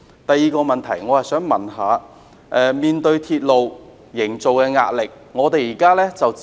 第二個問題，我想問問營造鐵路方面的壓力。